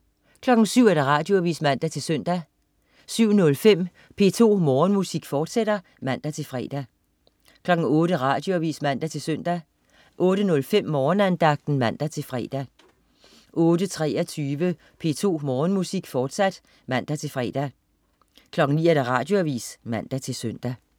07.00 Radioavis (man-søn) 07.05 P2 Morgenmusik, fortsat (man-fre) 08.00 Radioavis (man-søn) 08.05 Morgenandagten (man-fre) 08.23 P2 Morgenmusik, fortsat (man-fre) 09.00 Radioavis (man-søn)